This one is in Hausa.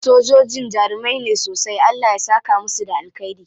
Sojojin jarumai ne sosai. Allah ya saka musu da alkhairi.